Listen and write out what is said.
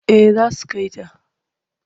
Eh za su kai ta.